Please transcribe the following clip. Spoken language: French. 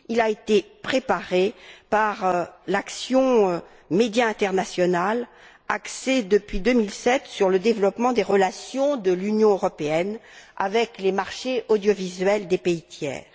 Il a été préparé par l'action MEDIA International axée depuis 2007 sur le développement des relations de l'Union européenne avec les marchés audiovisuels des pays tiers.